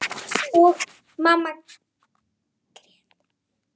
Og mamma grét.